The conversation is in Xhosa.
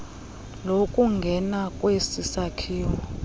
lokungena kwesi sakhiwo